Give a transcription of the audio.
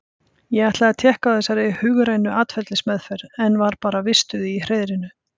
Ég ætlaði að tékka á þessari hugrænu atferlismeðferð, en var bara vistuð í hreiðrinu.